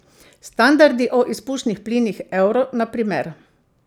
Standardi o izpušnih plinih euro, na primer.